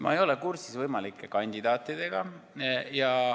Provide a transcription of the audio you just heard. Ma ei ole kursis võimalike kandidaatidega.